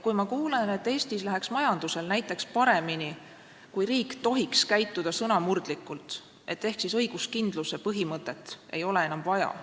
Ma kuulen arvamusi, et Eestis läheks näiteks majandusel paremini, kui riik tohiks käituda sõnamurdlikult, ehk õiguskindluse põhimõtet ei ole enam vaja.